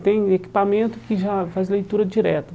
Tem equipamento que já faz leitura direta.